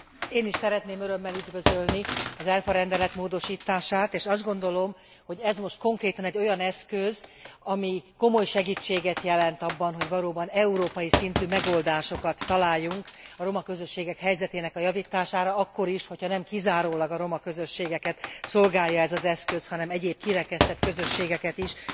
Én is szeretném örömmel üdvözölni az ERFA rendelet módosítását és azt gondolom, hogy ez most konkrétan egy olyan eszköz, ami komoly segítséget jelent abban, hogy valóban európai szintű megoldásokat találjunk a roma közösségek helyzetének a javítására akkor is, nem kizárólag a roma közösségeket szolgálja ez az eszköz, hanem egyéb kirekesztett közösségeket is.